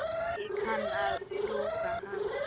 Ég kann að brúka hann.